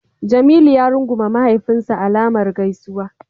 Jamilu ya rungume mahaifinsa alamar gaisuwa.